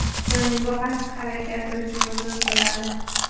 So‘ng bu xatti-harakati uchun uzr so‘radi .